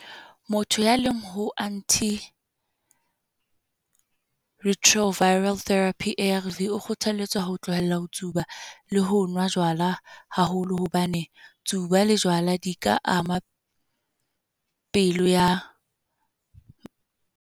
Motho ya leng ho anti retroviral therapy, A_R_V o kgothalletswa ho tlohella ho tsuba le ho nwa jwala haholo. Hobane, tsuba le jwala di ka ama pelo ya.